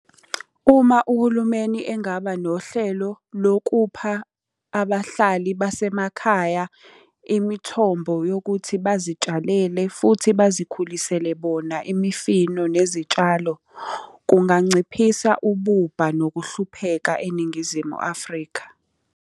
Uma uhulumeni engaba nohlelo lokupha abahlali basemakhaya imithombo yokuthi bazitshalele futhi bazikhulisele bona imifino nezitshalo, kunganciphisa ububha nokuhlupheka eNingizimu Afrika.